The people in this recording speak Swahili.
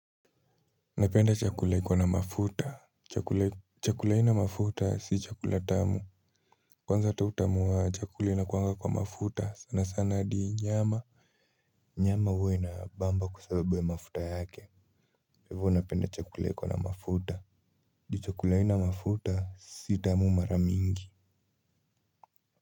Napenda chakula iko na mafuta. Chakula haina mafuta si chakula tamu. Kwanza hata utamu wa chakula inakuanga kwa mafuta sana sana adi nyama. Nyama huwa inabamba kwa sababu ya mafuta yake. Hivo napenda chakula iko na mafuta. Adi chakula haina mafuta si tamu mara mingi.